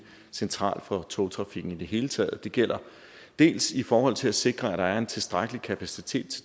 central for togtrafikken i det hele taget og det gælder dels i forhold til at sikre at der er en tilstrækkelig kapacitet